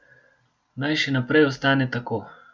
Naj še naprej ostane tako.